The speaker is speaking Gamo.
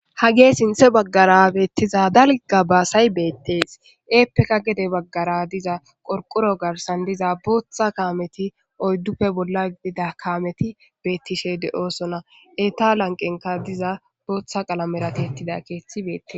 Hageyi sinthan bagara betiza daliga basayi betees heppekka gede bagara diza qoriqoro garisani diza botha kameti oyiduppe bola gidida kameti betishe deosons heyita laniqenikka diza botha qalamera tiyetida kethi betees